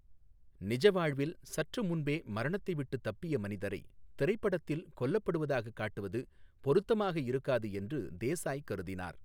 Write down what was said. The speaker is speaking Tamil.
நிஜ வாழ்வில் சற்று முன்பே மரணத்தை விட்டுத் தப்பிய மனிதரை திரைப்படத்தில் கொல்லப்படுவதாகக் காட்டுவது பொருத்தமாக இருக்காது என்று தேசாய் கருதினார்.